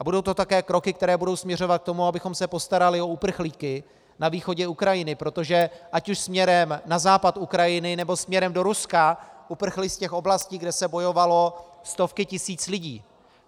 A budou to také kroky, které budou směřovat k tomu, abychom se postarali o uprchlíky na východě Ukrajiny, protože ať už směrem na západ Ukrajiny, nebo směrem do Ruska uprchly z těch oblastí, kde se bojovalo, stovky tisíc lidí.